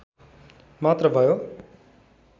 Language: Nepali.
मात्र भयो